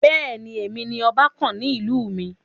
Bẹ́ẹ̀ni, èmi ni ọba kàn ní ìlú mi.